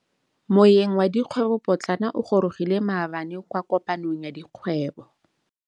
Moêng wa dikgwêbô pôtlana o gorogile maabane kwa kopanong ya dikgwêbô.